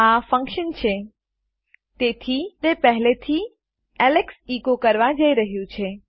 આ ફન્કશન છે તેથી તે પહેલે થી એલેક્સ એકો કરવા જઈ રહ્યું છે